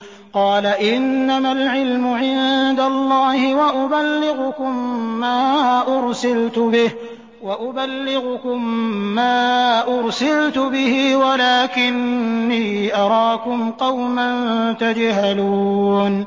قَالَ إِنَّمَا الْعِلْمُ عِندَ اللَّهِ وَأُبَلِّغُكُم مَّا أُرْسِلْتُ بِهِ وَلَٰكِنِّي أَرَاكُمْ قَوْمًا تَجْهَلُونَ